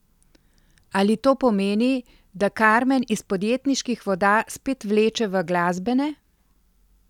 Ali to pomeni, da Karmen iz podjetniških voda spet vleče v glasbene?